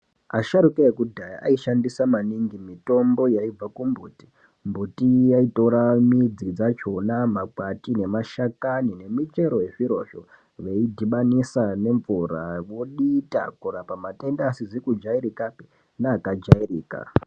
Asharukwa ekudhaya vaishandisa maningi mitombo yaibva kumbiti mbiti vaitora midzi dzachona makwati mashakani nemichero wezvirozvo veidhibanisa nemvura vodita kurapa matenda asisi kujairika neakajairika